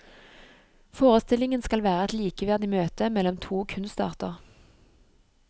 Forestillingen skal være et likeverdig møte mellom to kunstarter.